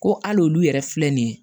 Ko hali olu yɛrɛ filɛ nin ye